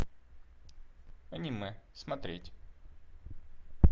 аниме смотреть